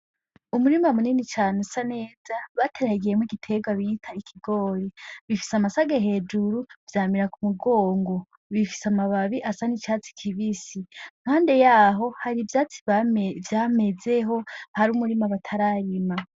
Umurima munini cane usa neza bateragiyemwo igiterwa bita ibigori, gifise amasage hejuru vyamira ku mugongo, bifise amababi asa nk'icatsi kibisi, impande har'ivyatsi vyameze ho har'umurima batararima.